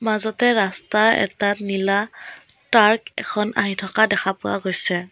মাজতে ৰাস্তা এটাত নীলা ট্ৰাক এখন আহি থকা দেখা পোৱা গৈছে।